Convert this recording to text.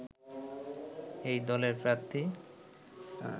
এই দলের প্রার্থী